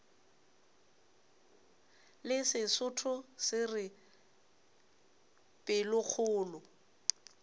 le sesotho se re pelokgolo